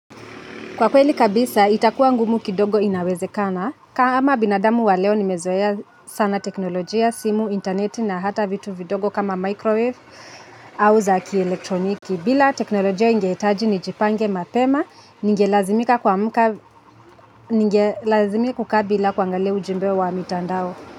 Kwa kweli kabisa itakuwa ngumu kidogo inawezekana. Kama binadamu wa leo nimezoea sana teknolojia, simu, internet na hata vitu vidogo kama microwave au za kielektroniki. Bila teknolojia ingehitaji nijipange mapema, ningelazimika kukaa bila kuangalia ujumbe wa mitandao.